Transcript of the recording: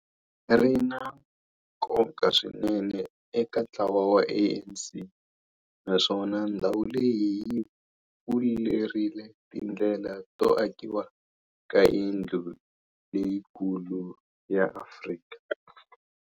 Ri na nkoka swinene eka ntlawa wa ANC, naswona ndhawu leyi yi pfulerile tindlela to akiwa ka yindlu leyikulu ya Afrika.